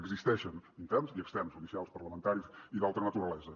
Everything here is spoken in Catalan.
existeixen interns i externs judicials parlamentaris i d’altra naturalesa